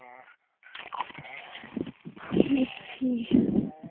বুঝছি